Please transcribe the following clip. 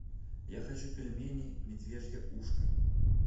я хочу пельмени медвежье ушко